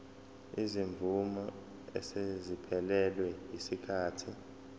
izimvume eseziphelelwe yisikhathi